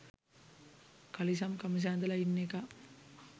කලිසම් කමිස ඇඳලා ඉන්න එකා